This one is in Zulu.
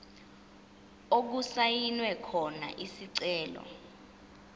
okusayinwe khona isicelo